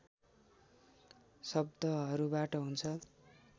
शब्दहरूबाट हुन्छ